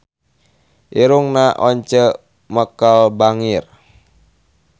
Irungna Once Mekel bangir